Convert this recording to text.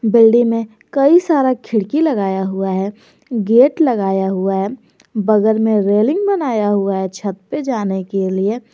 Building में कई सारा खिड़की लगाया हुआ है गेट लगाया हुआ है बगल में रेलिंग बनाया हुआ है छत पे जाने के लिए।